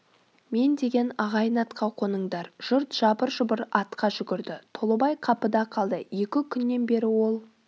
мен деген ағайын атқа қоныңдар жұрт жабыр-жұбыр атқа жүгірді толыбай қапыда қалды екі күннен бері ол